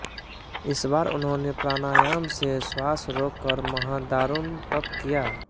इस बार उन्होंने प्राणायाम से श्वास रोक कर महादारुण तप किया